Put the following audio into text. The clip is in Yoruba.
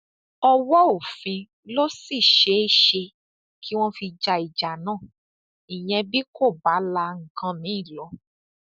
ọwọ òfin ló sì ṣeé ṣe kí wọn fi ja ìjà náà ìyẹn bí kò bá la nǹkan mìín lọ